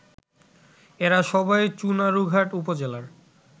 এরা সবাই চুনারুঘাট উপজেলার